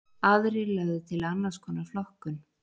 Aðrir lögðu til annars konar flokkun.